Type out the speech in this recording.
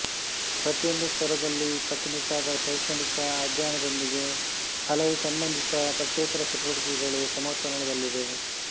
ಪ್ರತಿಯೊಂದು ಸ್ತರದಲ್ಲಿ ಕಟ್ಟುನಿಟ್ಟಾದ ಶೈಕ್ಷಣಿಕ ಅಧ್ಯಯನದೊಂದಿಗೆ ಹಲವು ಸಂಬಂಧಿತ ಪಠ್ಯೇತರ ಚಟುವಟಿಕೆಗಳು ಸಮತೋಲನದಲ್ಲಿವೆ